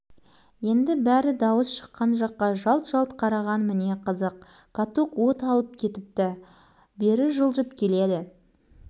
каток бір қалыпты дүрілдеген күйі ақырын жылжып келіп асфальтқа жаңа ғана бәрі жабыла түсірген ізді таптап өте шықты